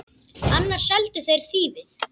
Annars seldu þeir þýfið.